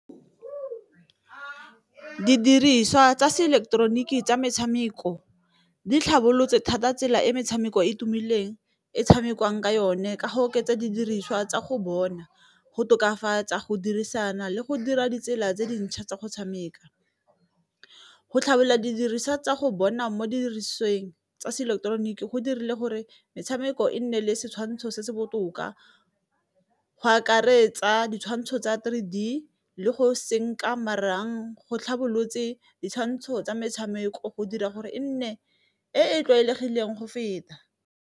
Didiriswa tsa se ileketeroniki tsa metshameko di tlhabolotse thata tsela e metshameko e e tumileng e tshamekiwang ka yone, ka go oketsa didiriswa tsa go bona, go tokafatsa, go dirisana le go dira ditsela tse dintšha tsa go tshameka. Go tlhabela didiriswa tsa go bona mo dirisweng tsa se ileketeroniki go dirile gore metshameko e nne le setshwantsho se se botoka, go akaretsa ditshwantsho tsa three D le go senka marang go tlhabolotse ditshwantsho tsa metshameko, go dira gore e nne e e tlwaelegileng go feta.